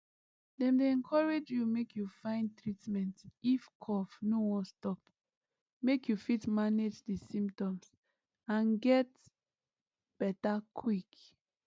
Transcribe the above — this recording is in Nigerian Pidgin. dem dey encourage you make you find treatment if cough no wan stop make you fit manage di symptoms and get beta quick